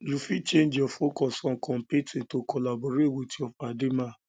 you fit change your focus from competing to collabo with your padi man